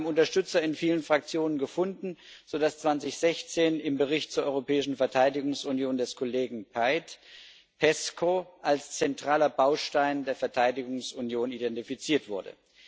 Wir haben Unterstützer in vielen Fraktionen gefunden, sodass 2016 im Bericht zur Europäischen Verteidigungsunion des Kollegen Paet PESCO als zentraler Baustein der Verteidigungsunion identifiziert wurde.